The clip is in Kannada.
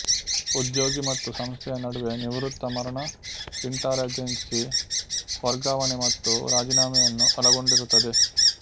ಉದ್ಯೋಗಿ ಮತ್ತು ಸಂಸ್ಥೆಯ ನಡುವೆ ನಿವೃತ್ತಿ ಮರಣ ಇಂಟಾರಾಜೆನ್ಸಿ ವರ್ಗಾವಣೆ ಮತ್ತು ರಾಜೀನಾಮೆಯನ್ನು ಒಳಗೊಂಡಿರುತ್ತದೆ